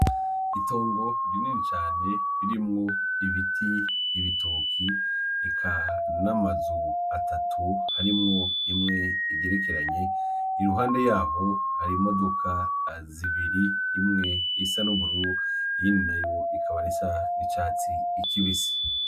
Itongo rinini cane ririmwo: ibiti ,ibitoke ,eka n'amazu atatu harimwo imwe igerekeranye, iruhande yaho har'imodoka zibiri, imwe isa n'ubururu ,iyindi nayo ikaba isa n'icatsi kibisi.